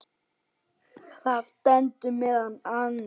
Þar stendur meðal annars